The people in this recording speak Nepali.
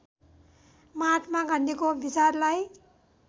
महात्मा गान्धीको विचारलाई